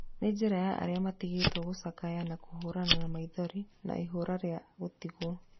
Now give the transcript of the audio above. Nĩ njĩra ya arĩa matigĩtwo gũcakaya na kũhũrana na maithori na ihoru rĩa gũtigwo